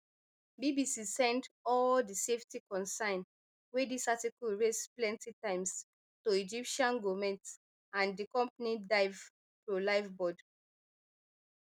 bbc send all di safety concern wey dis article raise plenty times to egyptian goment and di company dive pro liveaboard